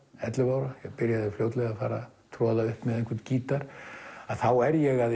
ellefu ára ég byrjaði fljótlega að fara troða upp með gítar að þá er ég að